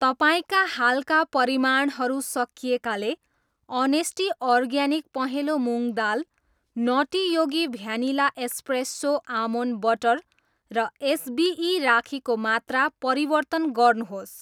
तपाईँका हालका परिमाणहरू सकिएकाले अनेस्टी अर्ग्यानिक पहेँलो मुँग दाल, nutty Yogi vanilla espresso almond butter र एसबिई राखीको मात्रा परिवर्तन गर्नुहोस्।